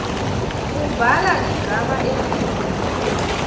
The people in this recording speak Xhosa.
ubhala igama elinye